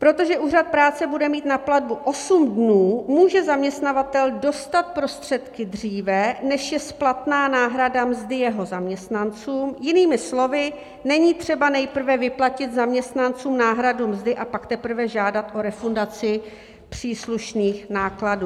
Protože úřad práce bude mít na platbu osm dnů, může zaměstnavatel dostat prostředky dříve, než je splatná náhrada mzdy jeho zaměstnanců, jinými slovy, není třeba nejprve vyplatit zaměstnancům náhradu mzdy a pak teprve žádat o refundaci příslušných nákladů.